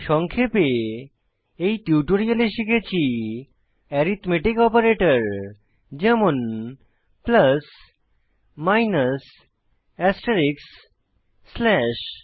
সংক্ষেপে এই টিউটোরিয়ালে শিখেছি এরিথম্যাটিক অপারেটর যেমন প্লাস মাইনাস এস্টেরিস্ক স্ল্যাশ